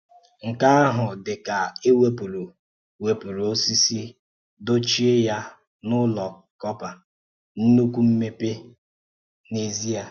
Nke ahụ̀ dị ka e wepùrù̀ wepùrù̀ osisi dochíè ya n’ọ́la kọ́pà, nnukwu mmepe n’ézìe!